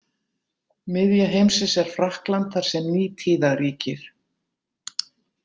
Miðja heimsins er Frakkland þar sem Nítíða ríkir.